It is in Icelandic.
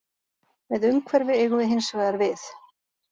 Með umhverfi eigum við hins vegar við